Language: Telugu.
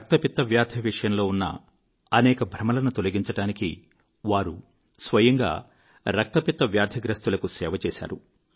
రక్తపిత్త వ్యాధి విషయంలో ఉన్న అనేక భ్రమలను తొలగించడానికి వారు స్వయంగా రక్తపిత్త వ్యాధిగ్రస్తులకు సేవ చేశారు